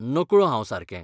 नकळो हांव सारकें.